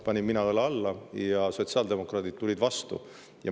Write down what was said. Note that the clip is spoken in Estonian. Mina panin õla alla ja sotsiaaldemokraadid tulid vastu.